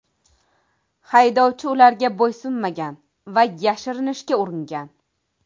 Haydovchi ularga bo‘ysunmagan va yashirinishga uringan.